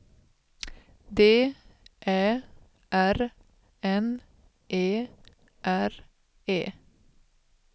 D Ä R N E R E